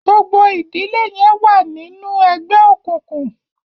gbogbo ìdílé yén wá ni nù ègbé òkùnkùn